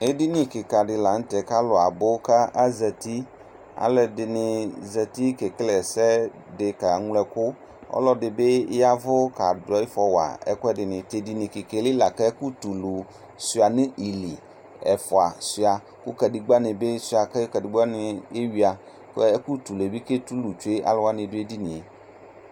Edini kɩka dɩ la nʋ tɛ k'alʋ abʋ ka azati, alʋɛdɩnɩ zati kele ɛsɛdɩ kaŋlo ɛkʋ, ɔlɔdɩ bɩ yavʋ kadʋ ɩfɔwa ɛkʋɛdɩnɩ T'edinie li la k'ɛkʋtulu sʋɩa nʋ ili , ɛfʋa sʋɩa kʋ kǝdegbǝnɩ sʋɩa kʋ kǝdegbǝwanɩ eyuǝ , k'ɛ ɛkʋtulue bɩ ketulu tsue alʋwanɩ n'edinie